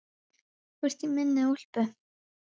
Þú ert í minni úlpu.